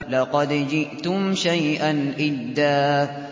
لَّقَدْ جِئْتُمْ شَيْئًا إِدًّا